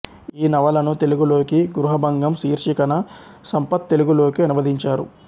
ఈ నవలను తెలుగులోకి గృహభంగం శీర్షికన సంపత్ తెలుగులోకి అనువదించారు